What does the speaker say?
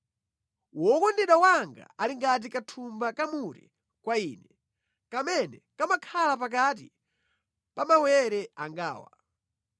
Wokondedwa wanga ali ngati kathumba ka mure kwa ine, kamene kamakhala pakati pa mawere angawa.